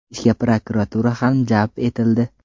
Ishga prokuratura ham jalb etildi.